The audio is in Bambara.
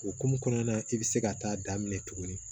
Okumu kɔnɔna na i bɛ se ka taa daminɛ tugunni